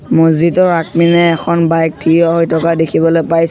মছজিদৰ আগপিনে এখন বাইক থিয় হৈ থকা দেখিবলৈ পাই--